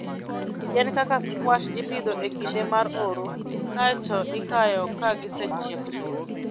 Yien kaka squash ipidho e kinde mar oro kae to ikayo ka gisechiek chuth.